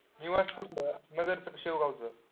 कुठलं, नगरच का शेवगावच?